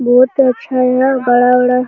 बहुत अच्छा यहाँ बड़ा-बड़ा --